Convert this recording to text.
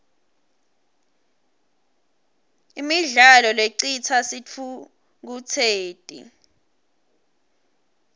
imidlalo lecitsa sitfukutseti